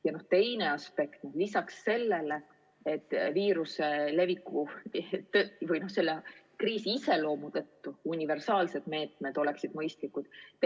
Ja on veel teine aspekt lisaks sellele, et viiruse leviku või selle kriisi iseloomu tõttu oleks universaalsed meetmed mõistlikud.